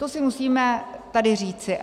To si musíme tady říci.